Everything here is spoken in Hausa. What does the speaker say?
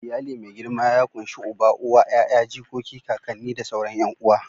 Iyali mai girma ya ƙunshi Uba, Uwa, 'ya'ya, jikoki, kakanni da sauran 'yan uwa.